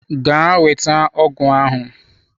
Gaa weta ọgụ ahụ!